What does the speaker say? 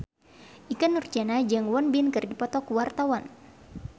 Ikke Nurjanah jeung Won Bin keur dipoto ku wartawan